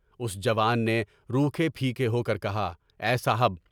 اس جوان نے روکھے پھیکے ہو کر کہا، اے صاحب!